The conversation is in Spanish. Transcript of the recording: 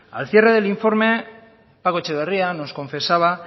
al cierre del informe paco etxeberria nos confesaba